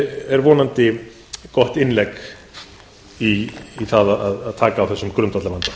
er vonandi gott innlegg í það að taka á þessum grundvallarvanda